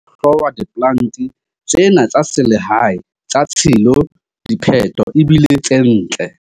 Ha esale ho hlongwa diplante tsena tsa selehae tsa tshilo, diphetho e bile tse ntle.